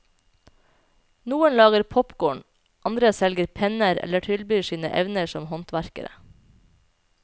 Noen lager popkorn, andre selger penner eller tilbyr sine evner som håndverkere.